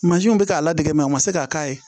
Mansinw bɛ k'a ladege u ma se ka k'a ye